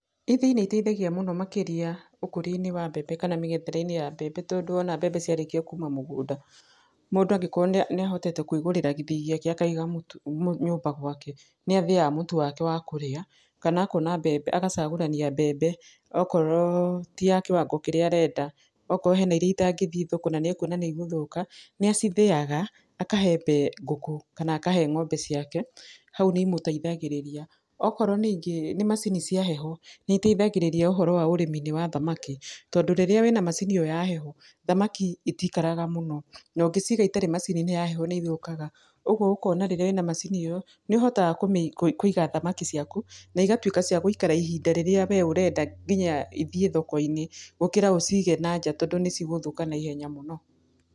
Ithĩi nĩiteithagia mũno makĩrĩa, ũkũria-inĩ wa mbembe kana mĩgethere-inĩ ya mbembe, tondũ wona mbembe ciarĩkia kũma mũgũnda, mũndũ angĩkorwo nĩahotete kwĩgũrĩra gĩthĩi gĩake akaiga mũtu nyũmba gwake, nĩathĩaga mũtu wake wa kũrĩa, kana akona mbembe, agacagũrania mbembe okorwo ti ya kĩwango kĩrĩa arenda, okorwo he na irĩa ĩtangĩthiĩ thoko na nĩũkuona nĩigũthũka, nĩacithĩaga, akahe mbe ngũkũ, kana akahe ng'ombe ciake, hau nĩimũteithagĩrĩria, okorwo ningĩ nĩ macini cia heho, nĩiteithagĩrĩria ũhoro wa ũrĩmi-inĩ wa thamaki, tondũ rĩrĩa wĩ na macini ĩyo ya heho, thamaki itikaraga mũno, nongĩciga citarĩ macini-inĩ ĩno ya heho nĩithũkaga, ũguo ũkona rĩrĩa wĩ na macini ĩyo, nĩũhotaga kũiga thamaki ciaku, na igatuĩka cia gũikara ihinda rĩrĩa wee ũrenda nginya ithiĩ thoko-inĩ, gũkĩra ũcige na nja, tondũ nĩcigũthũka na ihenya mũno.